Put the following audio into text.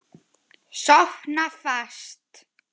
Sofna fast.